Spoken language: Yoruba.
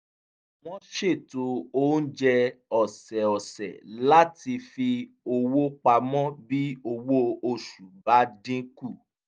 wọ́n ṣètò oúnjẹ ọ̀sẹ̀ọ̀sẹ̀ láti fi owó pamọ́ bí owó oṣù bá dín kù